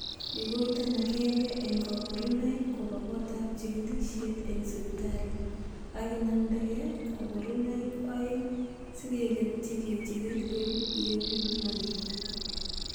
Igoiten agenge en koborunoik koba gotab chigilisiet en sipitali, ak inamdege koborunoik o'eng sikeketyi kechigil yebit maaget.